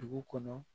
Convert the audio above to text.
Dugu kɔnɔ